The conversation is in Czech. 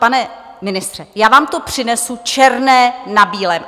Pane ministře, já vám to přinesu černé na bílém.